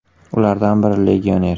Ulardan biri legioner.